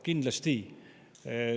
Kindlasti!